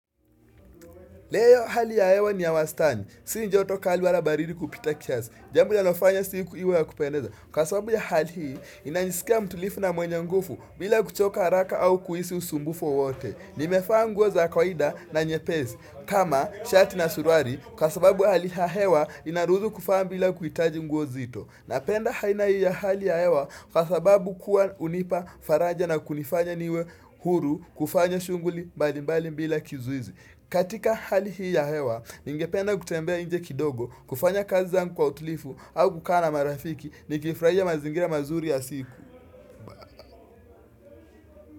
Leo hali ya hewa ni ya wastani. Si joto kali wala baridi kupita kiasi. Jambo linalofanya siku iwe ya kupendeza. Kwa sababu ya hali hii, ninajisikia mtulivu na mwenye nguvu bila kuchoka haraka au kuhisi usumbufu wowote. Nimevaa nguo za kawaida na nyepesi. Kama, shati na suruali, kwa sababu ya hali ya hewa inaruhusu kuvaa bila kuhitaji nguo nzito. Napenda haina hii ya hali ya hewa kwa sababu kuwa hunipa faraja na kunifanya niwe huru kufanya shughuli mbalimbali bila kizuizi. Katika hali hii ya hewa, ningependa kutembea nje kidogo, kufanya kazi zangu kwa utulivu au kukaa na marafiki, nikifurahia mazingira mazuri ya siku.